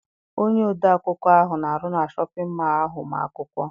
Onye ode akwụkwọ ahụ na-arụ na shọpịn mọọ ahụ ma akwụkwọ.